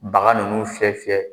Baga ninnu fiyɛ fiyɛ